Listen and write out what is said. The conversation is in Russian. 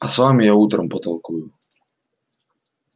а с вами я утром потолкую